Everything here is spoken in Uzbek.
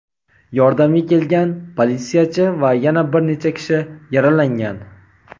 Yordamga kelgan politsiyachi va yana bir necha kishi yaralangan.